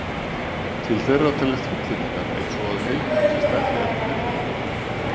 Til þeirra teljast fullyrðingar eins og að heild sé stærri en hluti hennar.